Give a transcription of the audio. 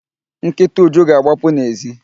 Nkịta Uju ga-agbapụ n'èzí.